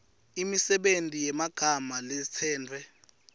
imisebenti yemagama latsetfwe